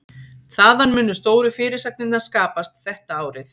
Þaðan munu stóru fyrirsagnirnar skapast þetta árið.